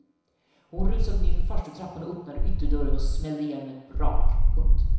Hon rusade nerför farstutrappan och öppnade ytterdörren och smällde igen med ett brak. punkt